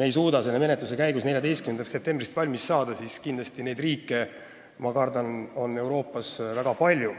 ei suuda selle menetlusega 14. septembriks valmis saada, siis ma kardan, et Euroopas on selliseid riike väga palju.